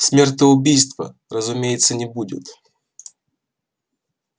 смертоубийства разумеется не будет